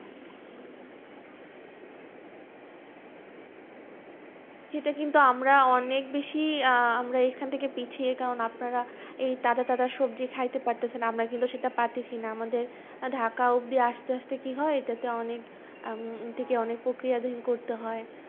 সেটা কিন্তু আমরা অনেক বেশি আহ আমরা এখান থেকে পিছিয়ে কারণ আপনারা এই তাজা তাজা সবজি খাইতে পারতেছেন, আমরা কিন্তু সেটা পারতেছি না আমাদের ঢাকা অব্দি আসতে আসতে কি হয়! এটাতে অনেক উম এটাকে অনেক প্রক্রিয়াধীন করতে হয়